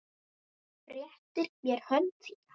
Réttir mér hönd þína.